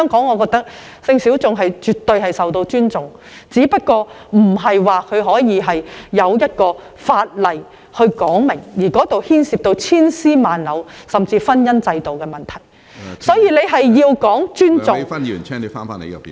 我認為性小眾在香港絕對受到尊重，只是未有相關的法例，而這牽涉千絲萬縷甚至是婚姻制度的問題，所以大家必須尊重......